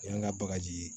Yan ŋa bagaji